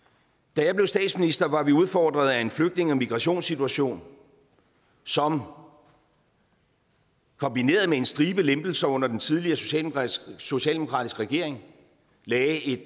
da jeg blev statsminister var vi udfordret af en flygtninge og migrationssituation som kombineret med en stribe lempelser under den tidligere socialdemokratiske socialdemokratiske regering lagde et